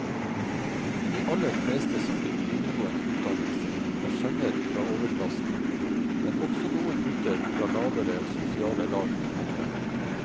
De aller fleste som fikk videregående utdannelse, var sønner fra overklassen, men også noen gutter fra lavere sosiale lag kom frem.